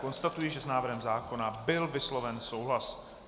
Konstatuji, že s návrhem zákona byl vysloven souhlas.